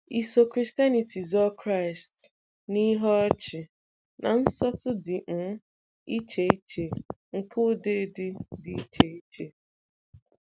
Iso Christianityzọ Kraịst na ihe ọchị na nsọtụ dị um iche iche nke ụdịdị dị iche iche?